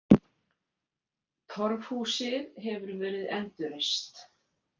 Torfhúsið hefur verið endurreist.